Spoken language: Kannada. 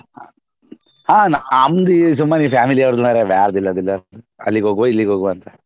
ಹ ನಮ್ದು ಸುಮ್ಮನೆ ಈ family ಅವರ್ದು ಮಾರ್ರೆ ಅಲ್ಲಿಗೆ ಹೋಗುವ ಇಲ್ಲಿಗೆ ಹೋಗುವ ಅಂತ.